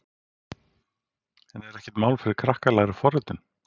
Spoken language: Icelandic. En er ekkert mál fyrir krakka að læra forritun?